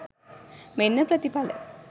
මෙන්න ප්‍රතිඵල